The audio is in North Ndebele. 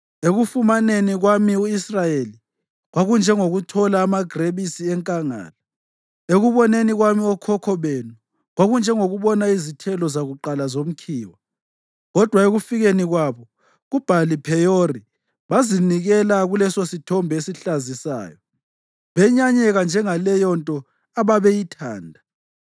“Ekufumaneni kwami u-Israyeli kwakunjengokuthola amagrebisi enkangala; ekuboneni kwami okhokho benu, kwakunjengokubona izithelo zakuqala zomkhiwa. Kodwa ekufikeni kwabo kuBhali-Pheyori, bazinikela kulesosithombe esihlazisayo benyanyeka njengaleyonto ababeyithanda.